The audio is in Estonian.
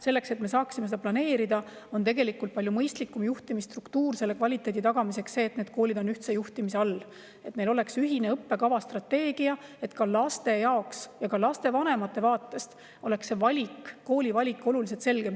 Selleks, et me saaksime seda planeerida ja kvaliteedi tagada, on palju mõistlikum juhtimisstruktuur see, et need koolid on ühtse juhtimise all ja neil on ühine õppekavastrateegia, et laste jaoks ja ka lastevanemate vaatest oleks koolivalik oluliselt selgem.